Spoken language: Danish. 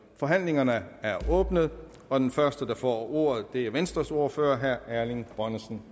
forhandlingen er åbnet og den første der får ordet er venstres ordfører herre erling bonnesen